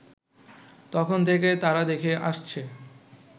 তখন থেকে তারা দেখে আসছে